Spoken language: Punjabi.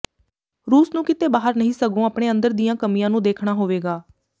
ਰੂਸ ਨੂੰ ਕਿਤੇ ਬਾਹਰ ਨਹੀਂ ਸਗੋਂ ਆਪਣੇ ਅੰਦਰ ਦੀਆਂ ਕਮੀਆਂ ਨੂੰ ਦੇਖਣਾ ਹੋਵੇਗਾ